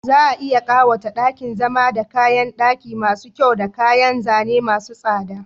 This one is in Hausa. Za a iya ƙawata ɗakin zama da kayan ɗaki masu kyau da kayan zane masu tsada..